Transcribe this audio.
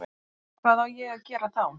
Hvað á ég að gera þá?